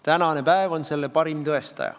Tänane päev on selle parim tõestaja.